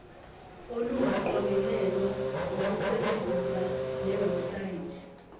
olungaqokelelwa ngokusebenzisa lewebsite